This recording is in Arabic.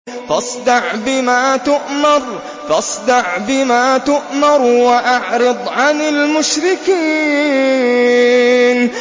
فَاصْدَعْ بِمَا تُؤْمَرُ وَأَعْرِضْ عَنِ الْمُشْرِكِينَ